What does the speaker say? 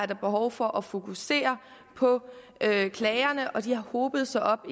der behov for at fokusere på at klagerne har hobet sig op